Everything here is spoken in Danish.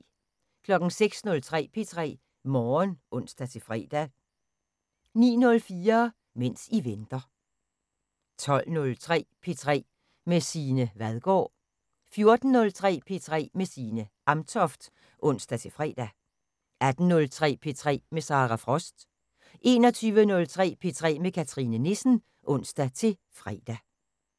06:03: P3 Morgen (ons-fre) 09:04: Mens I venter 12:03: P3 med Signe Vadgaard 14:03: P3 med Signe Amtoft (ons-fre) 18:03: P3 med Sara Frost 21:03: P3 med Cathrine Nissen (ons-fre)